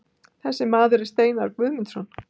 Þessi maður er Steinar Guðmundsson.